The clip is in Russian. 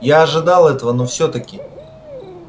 я ожидал этого но все таки